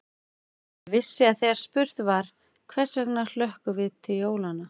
Ég vissi að þegar spurt var: hvers vegna hlökkum við til jólanna?